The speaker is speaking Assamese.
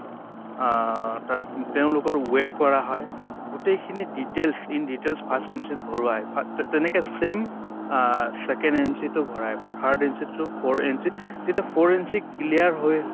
অ তে তেওঁলোকৰ weight কৰা হয়। গোটেইখিনি details in details first entry ত ভৰোৱাই তেনেকে same second entry টো ভৰায় । third entry টো four entry তেতিয়া four entry clear হৈ